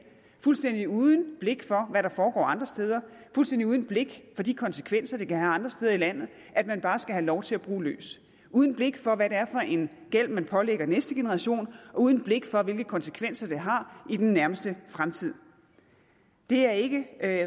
fuldstændig uden blik for hvad der foregår andre steder fuldstændig uden blik for de konsekvenser det kan have andre steder i landet at man bare skal have lov til at bruge løs uden blik for hvad det er for en gæld man pålægger næste generation og uden blik for hvilke konsekvenser det har i nærmeste fremtid er ikke